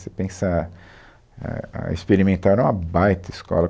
Se você pensar, a a Experimental era uma baita escola.